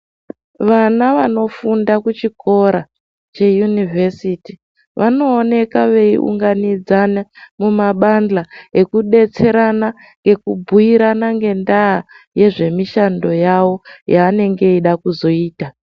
Vana vanofunda kuchikora cheYunivhesiti, vanooneka veiunganidzana mumabandla ekudetserana ekubhuirana ngendaa yezvimishando yavo yavanenge veida kuzoita.